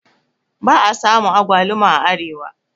ba a samu agwaluma a Arewa